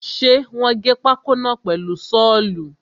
Ṣe wọ́n gé pákó náà pẹ̀lu sọ́ọ̀lù?